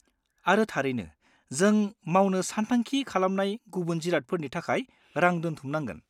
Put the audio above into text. आरो थारैनो, जों मावनो सानथांखि खालामनाय गुबुन जिरादफोरनि थाखाय रां दोनथुमनांगोन।